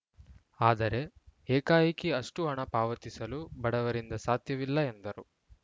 ಆದರೆ ಏಕಾಏಕಿ ಅಷ್ಟುಹಣ ಪಾವತಿಸಲು ಬಡವರಿಂದ ಸಾಧ್ಯವಿಲ್ಲ ಎಂದರು